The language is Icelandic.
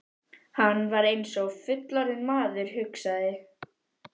Hann er eins og fullorðinn maður, hugsaði